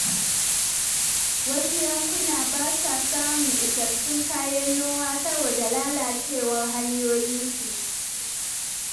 Wasu yankunan ba sa samun isassun kayan noma saboda lalacewar hanyoyinsu.